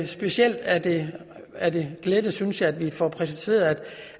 specielt er det er det glædeligt synes jeg at vi får præciseret